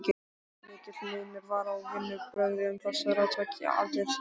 Mikill munur var á vinnubrögðum þessara tveggja aldurshópa.